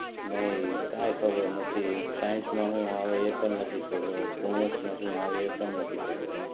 નહીં કે ખબર નથી સાયન્સ માં શું આવે એ પણ નથી ખબર કોમર્સ માં શું આવે એ પણ નથી ખબર.